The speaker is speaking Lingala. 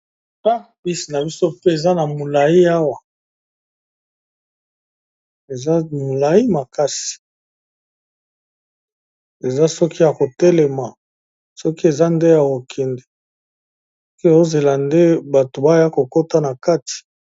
Ah bus na biso mpe eza na molayi awa, eza molayi makasi eza soki ya ko telema soki eza nde ya kokende ke ozela nde bato baya kokota na kati.